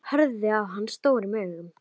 Horfði á hana stórum augum.